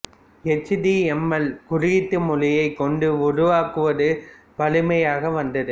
H டி எம் எல் குறியீட்டு மொழியைக் கொண்டு உருவாக்குவது வழமையாக வந்தது